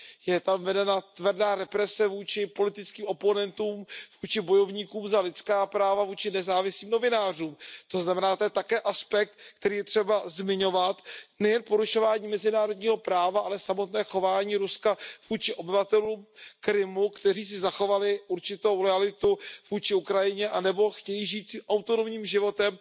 Je tam vedena tvrdá represe vůči politickým oponentům, vůči bojovníkům za lidská práva, vůči nezávislým novinářům. To znamená, to je také aspekt, který je třeba zmiňovat, nejen porušování mezinárodního práva, ale samotné chování Ruska vůči obyvatelům Krymu, kteří si zachovali určitou loajalitu vůči Ukrajině anebo chtějí žít si autonomním životem